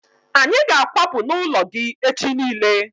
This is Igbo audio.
Anyị ga akwapu n'ụlọ gị echi niile